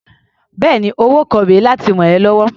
Bẹ́ẹ̀ni, owó kan rè é láti rà ẹ́ lọ́wọ́.